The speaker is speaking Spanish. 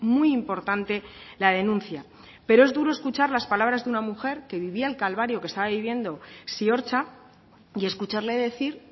muy importante la denuncia pero es duro escuchar las palabras de una mujer que vivía el calvario que estaba viviendo ziortza y escucharle decir